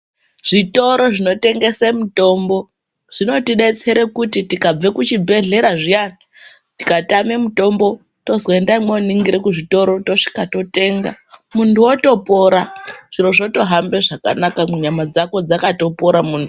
Zvitoro zvinotengese mutombo zvinotibetsere kuti tikabve kuzvibhedhlera zviyani tikatame mutombo tozwe ndani voningire kuzvitoro tosvika toitenga. Muntu votopora zviro zvotohambe zvakanaka munyama dzako dzakatopora muntu.